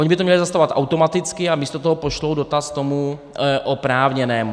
Ony by to měly zastavovat automaticky, a místo toho pošlou dotaz tomu oprávněnému.